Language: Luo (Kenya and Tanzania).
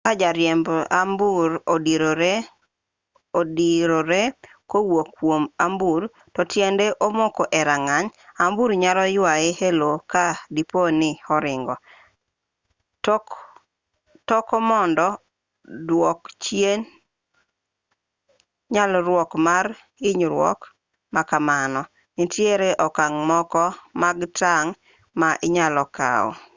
ka jariemb ambuor odirore kowuok kwom ambuor to tiende omoko e rageng' ambuor nyalo ywaye e lowo ka dipo ni oringo toko mondo duok chien nyalruok mar hinyruok ma kamano nitiere okang' moko mag tang' ma inyalo kaw